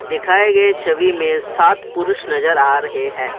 दिखाए गए छवि में सात पुरुष नजर आ रहे हैं।